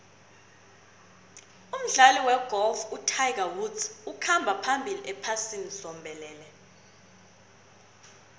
umdlali wegolf utiger woods ukhamba phambili ephasini zombelele